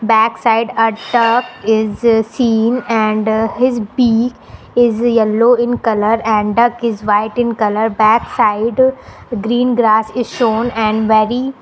backside a duck is seen and his beak is yellow in colour and duck is white in colour backside green grass is shown and very --